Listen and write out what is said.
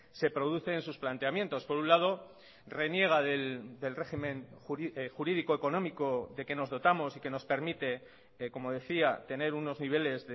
se produce en sus planteamientos por un lado reniega del régimen jurídico económico de que nos dotamos y que nos permite como decía tener unos niveles